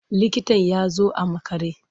Likitan ya zo a makare.